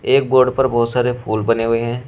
एक बोर्ड पर बहुत सारे फूल बने हुए हैं।